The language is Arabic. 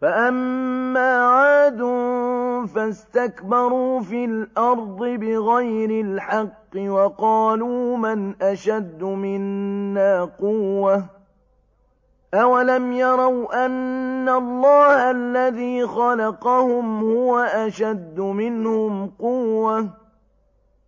فَأَمَّا عَادٌ فَاسْتَكْبَرُوا فِي الْأَرْضِ بِغَيْرِ الْحَقِّ وَقَالُوا مَنْ أَشَدُّ مِنَّا قُوَّةً ۖ أَوَلَمْ يَرَوْا أَنَّ اللَّهَ الَّذِي خَلَقَهُمْ هُوَ أَشَدُّ مِنْهُمْ قُوَّةً ۖ